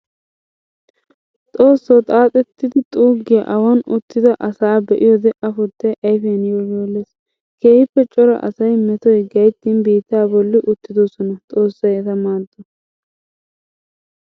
Xoosso! Xaaxxetiddi xuugiya awan uttidda asaa be'iyoode afuttay ayfiyan yoolliyooles. Keehippe cora asay metoy gayttin biitta bolla uttidosona, xoossay etta maado!